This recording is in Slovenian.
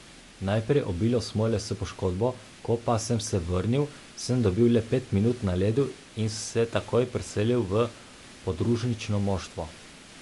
Najprej obilo smole s poškodbo, ko pa sem se vrnil, sem dobil le pet minut na ledu in se takoj preselil v podružnično moštvo.